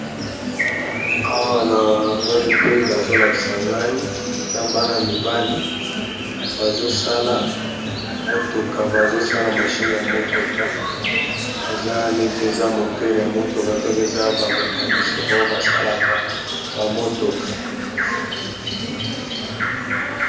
awa na amoni pe bazolakisa ngai eza bana mibali bazosala motoka bazosala mashine ya motoka eza neti eza motere ya motoka donk eza ba mecanisien baoyo basalaka ba motoka.